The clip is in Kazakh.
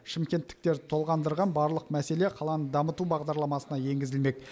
шымкенттіктерді толғандырған барлық мәселе қаланы дамыту бағдарламасына енгізілмек